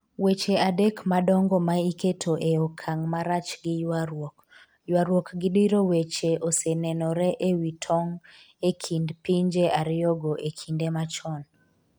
weche adek madongo ma iketo e okang' marach gi ywaruok. ywaruok gi diro weche osenenore e wi tong e kind pinje ariyogo e kinde machon